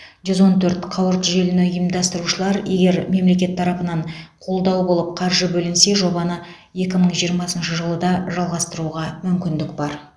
жүз он төрт қауырт желіні ұйымдастырушылар егер мемлекет тарапынан қолдау болып қаржы бөлінсе жобаны екі мың жиырмасыншы жылы да жалғастыруға мүмкіндік бар